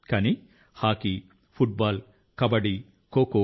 కానీ hockey football kabaddi kho kho